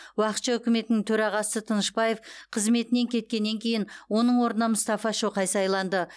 уақытша үкіметінің төрағасы м тынышбаев қызметінен кеткеннен кейін оның орнына мұстафа шоқай сайланды